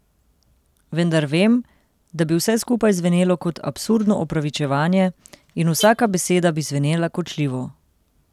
Vendar vem, da bi vse skupaj zvenelo kot absurdno opravičevanje in vsaka beseda bi zvenela kočljivo.